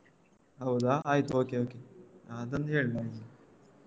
ಹೌದಾ ಆಯ್ತು okay okay ಹ ಅದೊಂದು ಹೇಳ್ ಮೊದ್ಲು.